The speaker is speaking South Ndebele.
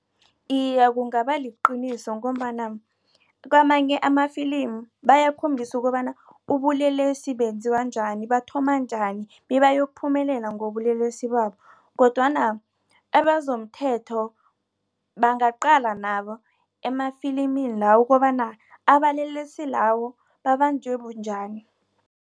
Iye, kungabaliqiniso ngombana kwamanye amafilimi bayakhombisa ukobana ubulelesi benziwa njani bathoma njani bebayokuphumelela ngobulelesi babo. Kodwana ebazomthetho bangaqala nabo emafilimini lawo ukobana abalelesi lawo babanjwe bunjani.